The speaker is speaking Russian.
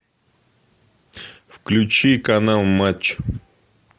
включи канал матч